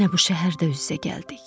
Yenə bu şəhərdə üz-üzə gəldik.